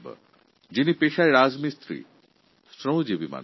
উনি একজন সাধারণ রাজমিস্ত্রী